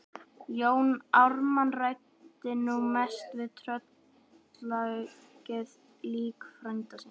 Jón Ármann ræddi nú mest við tröllaukið lík frænda síns.